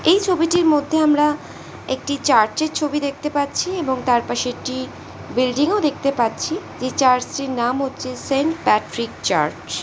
এই ছবিটির মধ্যে আমরা একটি চার্চ -এর ছবি দেখতে পাচ্ছি এবং তার পাশে একটি বিল্ডিং ও দেখতে পাচ্ছি এই চার্চ -টির নাম হচ্ছে সেন্ট প্যাট্রিক চার্চ ।